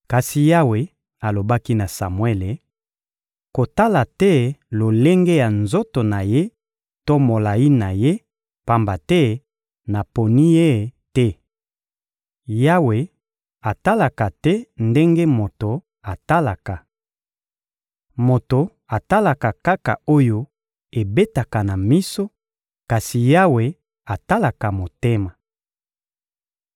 Kasi Yawe alobaki na Samuele: — Kotala te lolenge ya nzoto na ye to molayi na ye, pamba te naponi ye te. Yawe atalaka te ndenge moto atalaka. Moto atalaka kaka oyo ebetaka na miso, kasi Yawe atalaka motema.